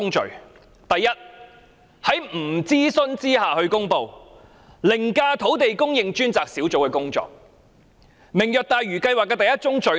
政府在未經諮詢下公布這項計劃，凌駕土地供應專責小組的工作，這便是"明日大嶼"的第一宗罪。